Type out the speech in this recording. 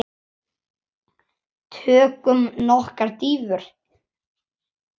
Tökum nokkrar dýfur!